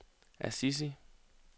Assisi